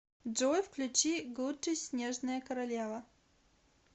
джой включи гуди снежная королева